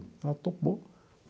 Ela topou.